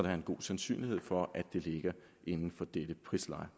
er en god sandsynlighed for at det ligger inden for dette prisleje